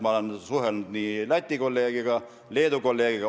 Ma olen suhelnud nii Läti kui ka Leedu kolleegiga.